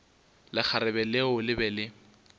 lekgarebe leo le be le